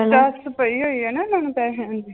ਪਈ ਹੋਈ ਆ ਨਾ ਉਹਨਾਂ ਨੂੰ ਪੈਸਿਆਂ ਦੀ l